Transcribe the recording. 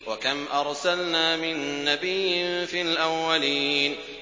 وَكَمْ أَرْسَلْنَا مِن نَّبِيٍّ فِي الْأَوَّلِينَ